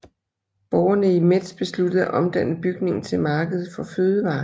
Borgerne i Metz besluttede at omdanne bygningen til marked for fødevarer